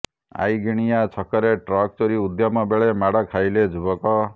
ଆଇଁଗିଣିଆ ଛକରେ ଟ୍ରକ୍ ଚୋରି ଉଦ୍ୟମ ବେଳେ ମାଡ଼ ଖାଇଲେ ଯୁବକ